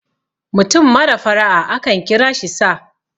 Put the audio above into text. mutum mara fara' a akan kira shi sa